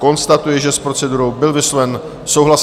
Konstatuji, že s procedurou byl vysloven souhlas.